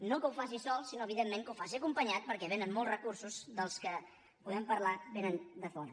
no que ho faci sol sinó evidentment que ho faci acompanyat perquè venen molts recursos dels que podem parlar de fora